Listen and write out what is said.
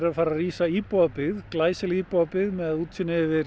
að fara að rísa íbúðabyggð glæsileg íbúðabyggð með útsýni yfir